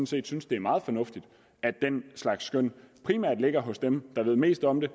set synes det er meget fornuftigt at den slags skøn primært ligger hos dem der ved mest om det